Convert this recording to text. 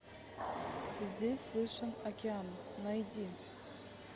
здесь слышен океан найди